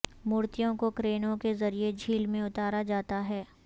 مورتیوں کو کرینوں کے ذریعے جھیل میں اتارا جاتا ہے